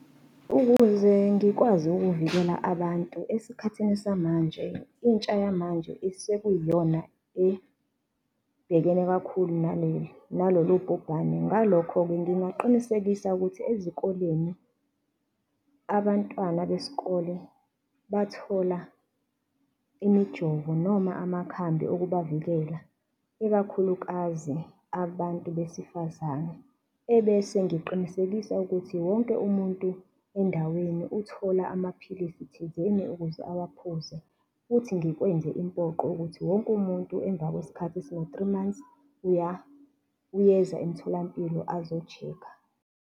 Ukuze ngikwazi ukuvikela abantu, esikhathini samanje, intsha yamanje isekuyiyona ebhekene kakhulu naleli nalolu bhubhane. Ngalokho-ke, ngingaqinisekisa ukuthi ezikoleni abantwana besikole bathola imijovo noma amakhambi okubavikela, ikakhulukazi abantu besifazane. Ebese ngiqinisekisa ukuthi wonke umuntu endaweni uthola amaphilisi thizeni ukuze awaphuze futhi ngikwenze impoqo ukuthi wonke umuntu emva kwesikhathi esino-three months, uyeza emtholampilo, azoshekha.